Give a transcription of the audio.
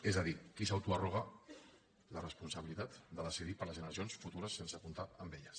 és a dir qui s’autoarroga la responsabilitat de decidir per les generacions futures sense comptar amb elles